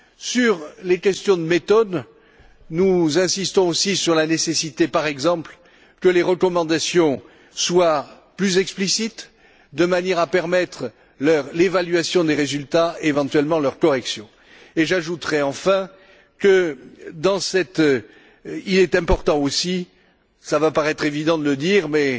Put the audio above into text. Sur les questions de méthode, nous insistons aussi sur la nécessité, par exemple, que les recommandations soient plus explicites de manière à permettre l'évaluation des résultats, et éventuellement leur correction. J'ajouterai enfin qu'il est important aussi cela va paraître évident de le dire mais,